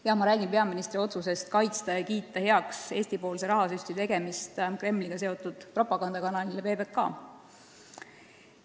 Jah, ma räägin peaministri otsusest kaitsta ja kiita heaks Eesti rahasüsti Kremliga seotud propagandakanalile PBK.